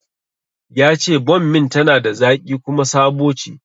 Yace bommin tana da zaƙi kuma sabo ce